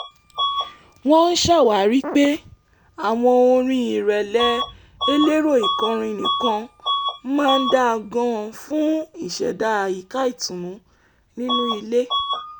wọ́n ṣàwárí pé àwọn orin ìrẹ̀lẹ̀ ẹlẹ́rọ ìkọrin nìkan máa ń dáa gan fún ìṣẹ̀dá àyìká ìtùnnú nínú ilé